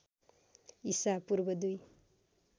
ईसा पूर्व दुई